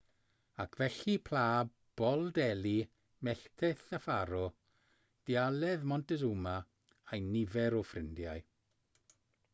ac felly pla bol delhi melltith y ffaro dialedd montezuma a'u nifer o ffrindiau